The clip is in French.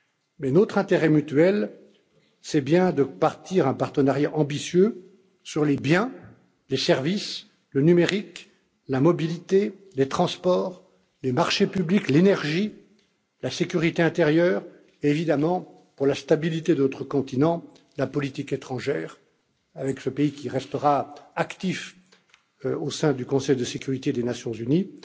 Mais notre intérêt mutuel, c'est bien de bâtir un partenariat ambitieux sur les biens, les services, le numérique, la mobilité, les transports, les marchés publics, l'énergie, la sécurité intérieure évidemment pour la stabilité de notre continent, la politique étrangère avec ce pays qui restera actif au sein du Conseil de sécurité des Nations